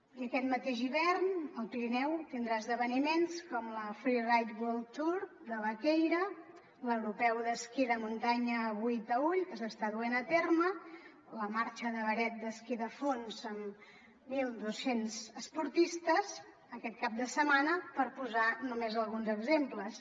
i aquest mateix hivern el pirineu tindrà esdeveniments com la freeride world tour de vaquèira l’europeu d’esquí de muntanya a boí taüll que s’està duent a terme la marxa de beret d’esquí de fons amb mil doscents esportistes aquest cap de setmana per posar només alguns exemples